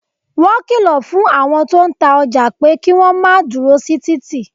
Wọn kìlọ̀ fún àwọn tó ń ta ọjà pé kí wọ́n máa dúró sí títì